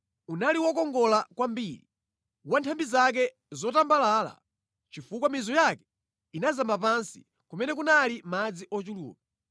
Unali wokongola kwambiri, wa nthambi zake zotambalala, chifukwa mizu yake inazama pansi kumene kunali madzi ochuluka.